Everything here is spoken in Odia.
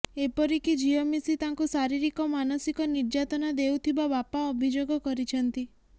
ଏପରି କି ଝିଅ ମିଶି ତାଙ୍କୁ ଶାରୀରିକ ମାନସିକ ନିର୍ଯାତନା ଦେଉଥିବା ବାପା ଅଭିଯୋଗ କରିଛନ୍ତି